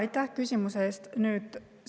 Aitäh küsimuse eest!